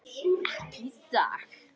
Ekki í dag.